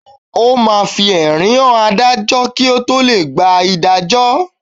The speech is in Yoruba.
O máa fi ẹ̀rí hàn Adájọ́ kí o tó lè gba ìdájọ́.